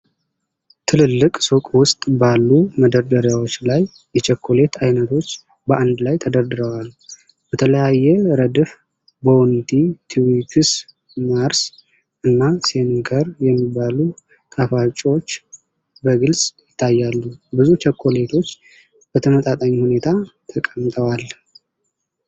ትልልቅ ሱቅ ውስጥ ባሉ መደርደሪያዎች ላይ የቸኮሌት ዓይነቶች በአንድ ላይ ተደርድረዋል። በተለያየ ረድፍ ቦውንቲ፣ ትዊክስ፣ ማርስ እና ስኒከር የሚባሉ ጣፋጮች በግልጽ ይታያሉ። ብዙ ቸኮሌቶች በተመጣጣኝ ሁኔታ ተቀምጠዋል።